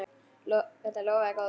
Þetta lofaði góðu.